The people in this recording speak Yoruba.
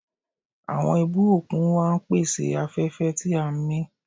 Àwọn ibú òkun wa ń pèsè afẹ́fẹ́ tí à ń mí.